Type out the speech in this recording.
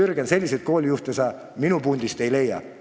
Jürgen, selliseid koolijuhte sa minu pundist ei leia.